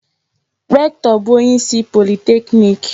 Rektọ bụ onyeisi politeknik.